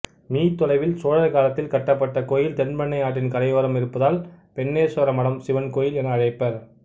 me தொலையில் சோழர் காலத்தில் கட்டப்பட்ட கோயில் தென்பெண்ணை ஆற்றின் கரையோரம் இருப்பதால் பென்னேஸ்வரமடம் சிவன் கோவில் என அழைப்பர்